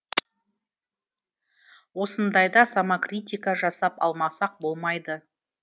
осындайда самокритика жасап алмасақ болмайды